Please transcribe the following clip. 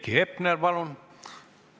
Heiki Hepner, palun!